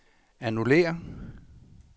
annullér